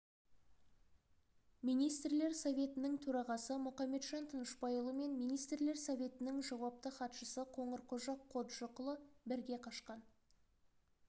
министрлер советінің төрағасы мұқаметжан тынышпайұлы мен министрлер советінің жауапты хатшысы қоңырқожа қоджықұлы бірге қашқан